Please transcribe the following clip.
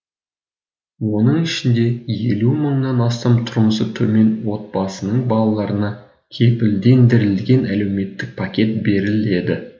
оның ішінде елу мыңнан астам тұрмысы төмен отбасының балаларына кепілдендірілген әлеуметтік пакет беріледі